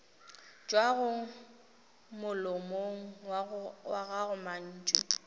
tšwago molomong wa gago mantšu